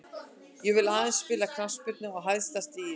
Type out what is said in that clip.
Ég vill aðeins spila knattspyrnu á hæsta stigi.